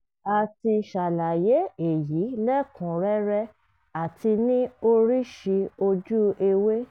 a ti ṣàlàyé èyí lẹ́kùún rẹ́rẹ́ àti ní oríṣi ojú ewé